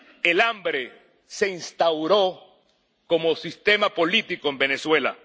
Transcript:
El hambre se instauró como sistema político en Venezuela.